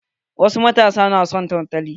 Wasu matasa maza na son tantali.